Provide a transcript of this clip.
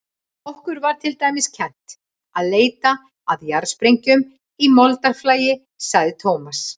Okkur var til dæmis kennt að leita að jarðsprengjum í moldarflagi, sagði Thomas.